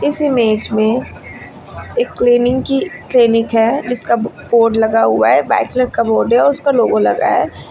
इस इमेज में एक क्लीनिंग की क्लिनिक है जिसका बो बोर्ड लगा हुआ है। व्हाइट कलर का बोर्ड है और उसका लोगो लगा है।